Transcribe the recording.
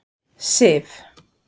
Sif